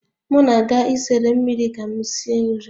M na-aga isere mmiri ka m sie nri